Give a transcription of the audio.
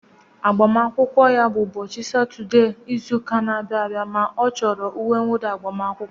Ụbọchị agbamakwụkwọ ya bụ ụbọchị Satọdee izu ụka na-abịa ma ọ chọrọ uwe nwụda agbamakwụkwọ